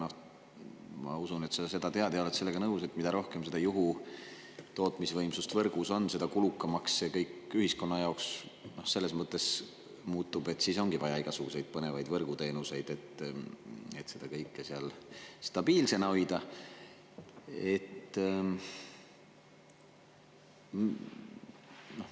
Aga ma usun, et sa seda tead ja oled sellega nõus, et mida rohkem juhutootmisvõimsust võrgus on, seda kulukamaks see kõik ühiskonna jaoks selles mõttes muutub, et siis ongi vaja igasuguseid põnevaid võrguteenuseid, et seda kõike seal stabiilsena hoida.